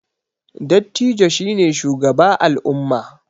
Dattijo shi ne shugaba al'umma